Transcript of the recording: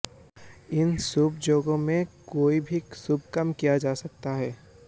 इन शुभ योगों में कोई भी शुभ काम किया जा सकता है